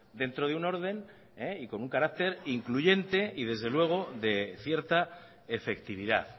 dentro de un orden y con un carácter incluyente y desde luego de cierta efectividad